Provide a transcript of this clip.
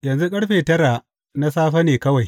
Yanzu ƙarfe tara na safe ne kawai!